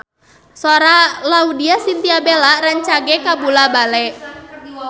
Sora Laudya Chintya Bella rancage kabula-bale